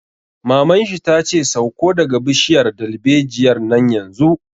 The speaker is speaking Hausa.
Maman shi ta ce 'Sauko daga bishiyar dalbejiyar nan yanzu'!